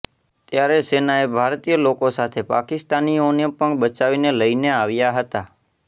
ત્યારે સેનાએ ભારતીય લોકો સાથે પાકિસ્તાનનીઓને પણ બચાવીને લઈને આવ્યા હતા